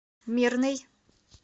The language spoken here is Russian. мирный